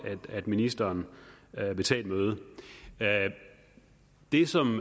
at ministeren vil tage et møde det som